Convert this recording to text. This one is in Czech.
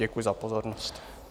Děkuji za pozornost.